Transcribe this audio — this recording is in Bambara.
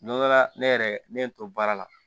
Don dɔ la ne yɛrɛ ne ye n to baara la